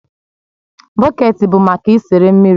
Bọket bụ maka isere mmiri